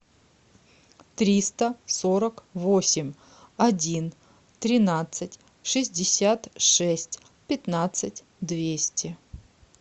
триста сорок восемь один тринадцать шестьдесят шесть пятнадцать двести